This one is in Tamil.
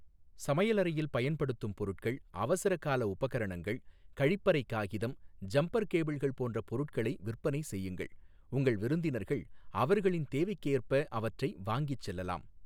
சமையலறையில் பயன்படுத்தும் பொருட்கள், அவசர கால உபகரணங்கள், கழிப்பறை காகிதம், ஜம்பர் கேபிள்கள் போன்ற பொருட்களை விற்பனை செய்யுங்கள், உங்கள் விருந்தினர்கள் அவர்களின் தேவைக்கேற்ப அவற்றை வாங்கிச் செல்லலாம்.